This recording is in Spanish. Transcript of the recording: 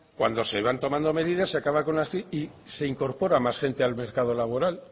cuando se van tomando medidas se acaba con la crisis y se incorpora más gente al mercado laboral